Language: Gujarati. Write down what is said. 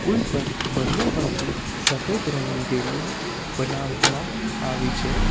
પુલ પર બંને બાજુ સફેદ રંગની રેલિંગ બનાવવામાં આવી છે.